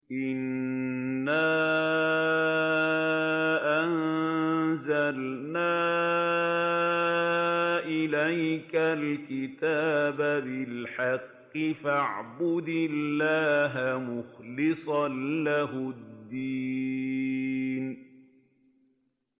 إِنَّا أَنزَلْنَا إِلَيْكَ الْكِتَابَ بِالْحَقِّ فَاعْبُدِ اللَّهَ مُخْلِصًا لَّهُ الدِّينَ